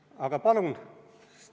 Aga palun!